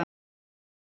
Er vit í því?